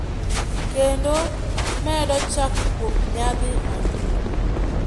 kendo medo chak kuom nyidhi anguro.